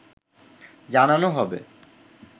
জানানো হবে